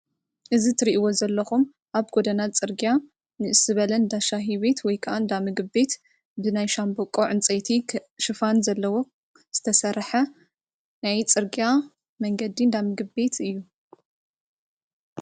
እዚ እትሪእዎ ዘለኹም ኣብ ጎደና ፅርግያ ንእስ ዝበለ እንዳሻሃ ቤት ወይ ከዓ ምግብቤት ብናይ ሻሞቦቆ ዕንፀይቲ ሽፉን ዘለዎ ዝተሰርሐ ናይ ፅርግያ መንገዲ እንዳ ምግቢ ቤት እዩ።